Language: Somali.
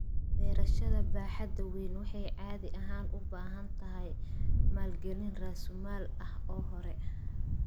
Beerashada baaxadda weyn waxay caadi ahaan u baahan tahay maalgalin raasumaal ah oo hore.